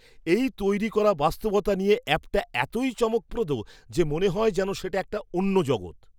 এই তৈরি করা বাস্তবতা নিয়ে অ্যাপটা এতই চমকপ্রদ যে মনে হয় যেন সেটা একটা অন্য জগৎ।